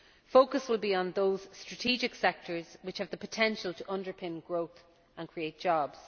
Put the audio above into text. Focus will be on those strategic sectors which have the potential to underpin growth and create jobs.